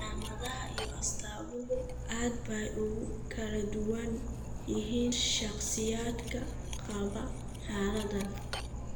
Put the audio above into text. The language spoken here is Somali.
Calaamadaha iyo astaamuhu aad bay ugu kala duwan yihiin shakhsiyaadka qaba xaaladdan.